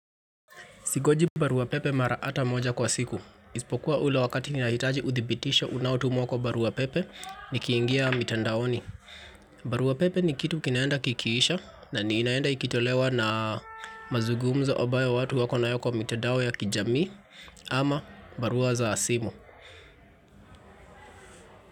Singoji baruapepe mara ata moja kwa siku. Isipokuwa ule wakati ninahitaji uthibitisho unaotumuwa kwa baruapepe nikiingia mitandaoni. Baruapepe ni kitu kinaenda kikiisha na inaenda ikitolewa na mazugumza ombayo watu wako nayo kwa mitandao ya kijamii ama barua za simu.